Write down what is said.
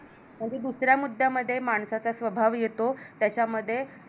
आणि दुसऱ्या मुद्यामध्ये माणसाचा स्वभाव येतो त्याचा मध्ये